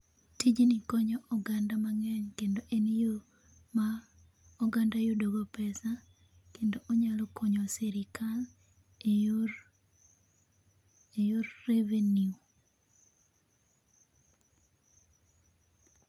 Tijni konyo oganda mang'eny kendo en yoo ma oganda yudo go pesa kendo onyalo konyo go sirkal e yor, e yor revenue